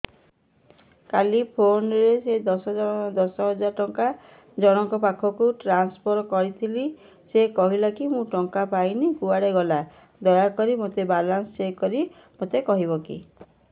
କାଲି PhonePe ରେ ଦଶ ହଜାର ଟଙ୍କା ଜଣକ ପାଖକୁ ଟ୍ରାନ୍ସଫର୍ କରିଥିଲି ସେ କହିଲା ମୁଁ ଟଙ୍କା ପାଇନି କୁଆଡେ ଗଲା ଦୟାକରି ମୋର ବାଲାନ୍ସ ଚେକ୍ କରି ମୋତେ କହିବେ କି